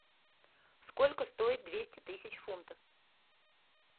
сколько стоит двести тысяч фунтов